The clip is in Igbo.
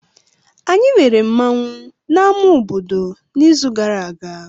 Anyị lere nmanwu na ama obodo n'izu gara aga.